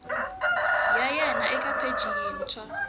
ya wena eka pheji yintshwa